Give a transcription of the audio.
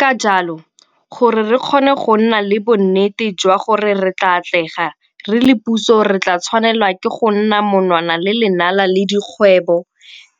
Ka jalo, gore re kgone go nna le bonnete jwa gore re tla atlega, re le puso re tla tshwanelwa ke go nna monwana le lenala le dikgwebo,